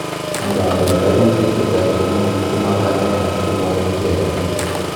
Angandan, koimutik chechang' komong'u komapanganat komoib kiy agetugul.